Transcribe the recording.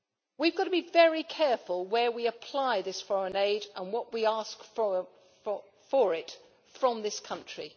We have got to be very careful where we apply this foreign aid and what we ask for it from this country.